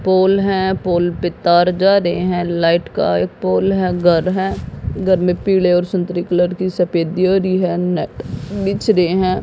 पोल हैं पोल पे तार जा रहे हैं लाइट का एक पोल है घर है घर में पीले और संतरी कलर की सफेदी हो रही है नेट बिछ रहे हैं।